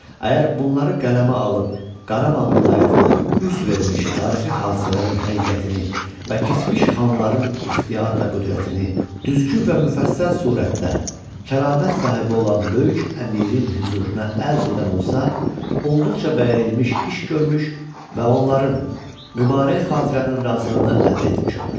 Əgər bunları qələmə alıb Qarabağ vilayətində üz vermiş tarixi hadisələrin həqiqətini və keçmiş xanların ixtiyar və qüdrətini, düzgün və müfəssəl surətdə, kəramət sahibi olan böyük əmirin hüzuruna ərz edən olsa, olduqca bəyənilmiş iş görmüş və onların mübarək xatirənin razılığını əldə etmiş olar.